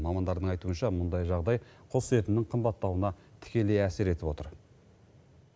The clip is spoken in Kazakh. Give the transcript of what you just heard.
мамандардың айтуынша мұндай жағдай құс етінің қымбаттауына тікелей әсер етіп отыр